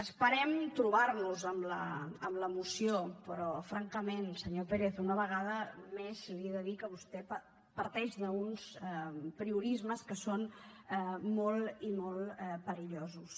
esperem trobar nos en la moció però francament senyor pérez una vegada més li he de dir que vostè parteix d’uns apriorismes que són molt i molt perillosos